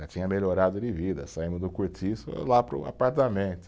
Já tinha melhorado de vida, saímos do cortiço lá para o apartamento.